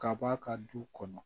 Kab'a ka du kɔnɔ